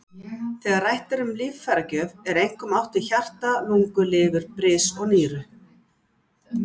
Þegar rætt er um líffæragjöf er einkum átt við hjarta, lungu, lifur, bris og nýru.